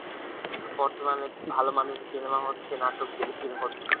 বর্তমানে ভাল মানের cinema হচ্ছে, নাটক, telefilm হচ্ছে।